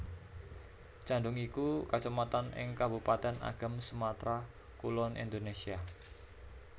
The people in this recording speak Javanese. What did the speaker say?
Candung iku Kacamatan ing Kabupatèn Agam Sumatra Kulon Indonésia